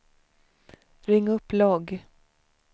ring upp logg